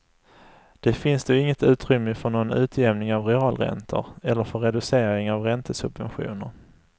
Det finns då inget utrymme för någon utjämning av realräntor, eller för reducering av räntesubventioner.